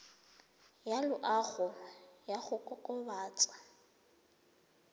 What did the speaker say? ya loago ya go kokobatsa